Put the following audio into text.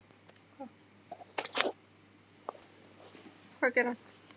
Ég vil ekki láta kalla mig Lilla!